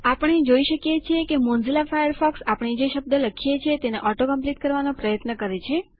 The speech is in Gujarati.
આપણે જોઇ શકીએ છીએ કે જે મોઝીલા ફાયરફોક્સ આપણે જે શબ્દ લખી રહ્યાં છીએ તેને auto કોમ્પ્લીટ કરવાનો પ્રયત્ન કરે છે